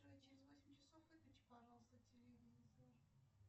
джой через восемь часов выключи пожалуйста телевизор